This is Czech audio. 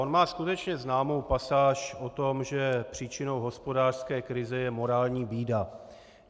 On má skutečně známou pasáž o tom, že příčinou hospodářské krize je morální bída.